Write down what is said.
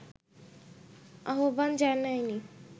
আহ্বান জানায়নি